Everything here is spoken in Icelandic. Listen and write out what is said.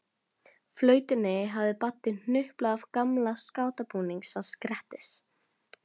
Flautunni hafði Baddi hnuplað af gamla skátabúningnum hans Grettis.